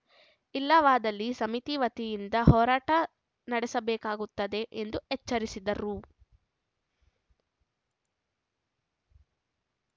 ಇಲ್ಲವಾದಲ್ಲಿ ಸಮಿತಿ ವತಿಯಿಂದ ಹೋರಾಟ ನಡೆಸಬೇಕಾಗುತ್ತದೆ ಎಂದು ಎಚ್ಚರಿಸಿದರು